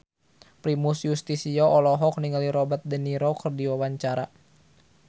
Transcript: Primus Yustisio olohok ningali Robert de Niro keur diwawancara